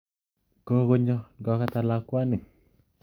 Kokonyon kokatan lakwani